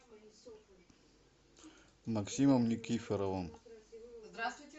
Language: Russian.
максимом никифоровым